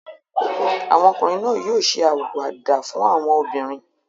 Àwọn ọkùnrin náà yóò ṣe àwàdà fún àwọn obìnrin.